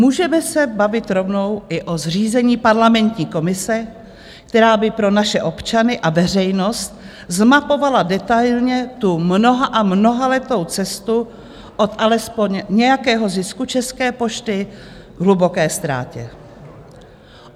Můžeme se bavit rovnou i o zřízení parlamentní komise, která by pro naše občany a veřejnost zmapovala detailně tu mnoha- a mnohaletou cestu od alespoň nějakého zisku České pošty k hluboké ztrátě.